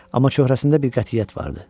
Amma çöhrəsində bir qətiyyət vardı.